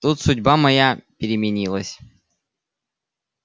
тут судьба моя переменилась